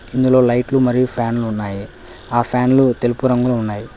ఇందులో లైట్లు మరియు ఫ్యాన్లు ఉన్నాయి ఆ ఫ్యాన్లు తెలుపు రంగులో ఉన్నాయి.